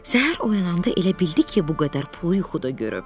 Səhər oyananda elə bildi ki, bu qədər pulu yuxuda görüb.